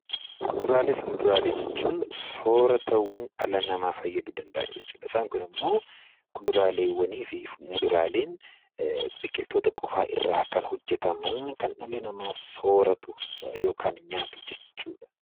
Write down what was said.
Kuduraaleefi muduraalee jechuun sooratawwan dhala namaa fayyaduu danda'an jechuudha isaan kunimmoo kuduraaleewwaniif muduraaleen biqiltoota qofaa irraa kan hojjataman kan dhalli namaa sooratu yookaan nyaatu jechuudha.